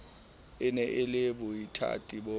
e na le boithati bo